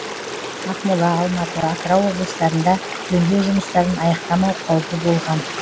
ақмола алматы атырау облыстарында жөндеу жұмыстарын аяқтамау қаупі болған